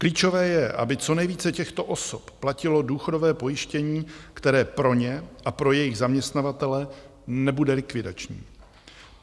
Klíčové je, aby co nejvíce těchto osob platilo důchodové pojištění, které pro ně a pro jejich zaměstnavatele nebude likvidační.